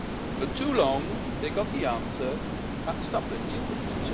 And then for too long they got the answer that's Dublin, deal with it.